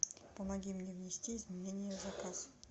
помоги мне внести изменения в заказ